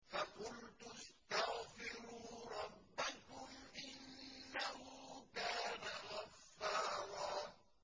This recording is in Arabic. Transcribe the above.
فَقُلْتُ اسْتَغْفِرُوا رَبَّكُمْ إِنَّهُ كَانَ غَفَّارًا